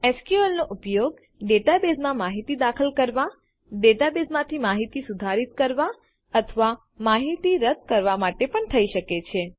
SQL નો ઉપયોગ ડેટાબેઝમાં માહિતી દાખલ કરવાં ડેટાબેઝમાંથી માહિતી સુધારિત કરવાં અથવા માહિતી રદ્દ કરવાં માટે પણ થઇ શકે છે